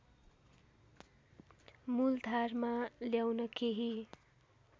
मूलधारमा ल्याउन केही